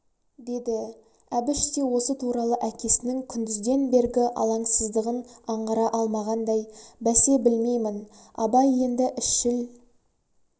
деді әбіш те осы туралы әкесінің күндізден бергі алаңсыздығың аңғара алмағандай бәсе білмеймін абай енді ісшіл